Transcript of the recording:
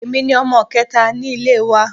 Èmi ni ọmọ kẹta ní ilé wa